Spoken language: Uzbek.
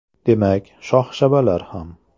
Demak, shox-shabbalar ham.